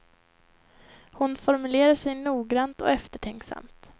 Hon formulerar sig noggrant och eftertänksamt.